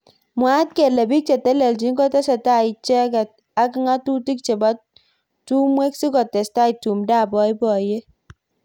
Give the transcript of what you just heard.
mwaat kele bik cheteleljin kotesetai icheket ak ngatutik chebo tungwek sikotestai tumdo ab boiboyet